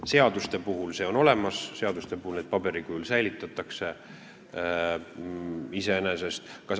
Seaduste puhul on see võimalus olemas, seadused paberil säilitatakse.